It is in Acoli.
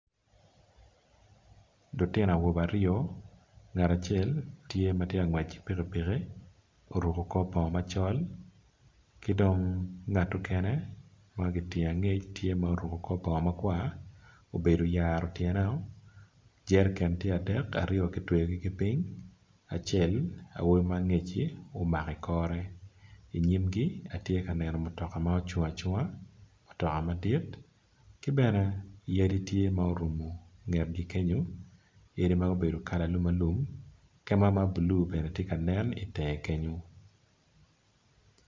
Lutino awobe aryo ngat acel tye matye kangwec kipikipiki oruko kor bongo macol kidong ngat okene magitingo angec tye ma oruko kor bongo makwar obedo oyaro tyene o jeriken tye adeke aryo kitweo kiping acel awobi mangecci omako ikore inyimgi atye ka neno mutoka ma ocungo acunga mutoka madit kibene yadi tye ma orumo ngetgi kenyo yadi ma obedo kala alum alum kema mablue bene tye kanen itenge kenyo.